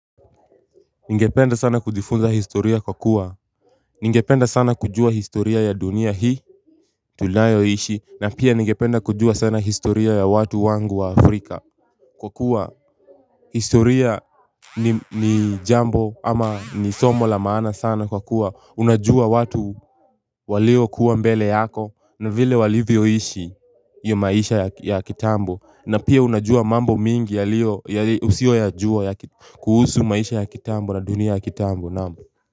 Ningependa sana kujifunza historia kwa kuwa Ningependa sana kujua historia ya dunia hii tunayoishi na pia ningependa kujua sana historia ya watu wangu wa afrika Kwa kuwa historia ni jambo ama ni somo la maana sana kwa kuwa unajua watu walio kuwa mbele yako na vile walivyoishi ya maisha ya kitambo na pia unajua mambo mingi ya usiyo yajua kuhusu maisha ya kitambo na dunia ya kitambo.